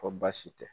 Ko baasi tɛ